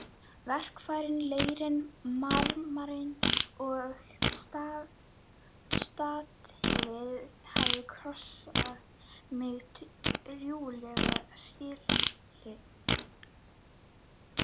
Verkfærin, leirinn, marmarinn og statífið hafa kostað mig drjúgan skilding.